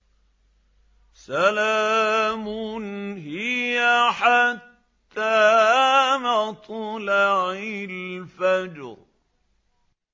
سَلَامٌ هِيَ حَتَّىٰ مَطْلَعِ الْفَجْرِ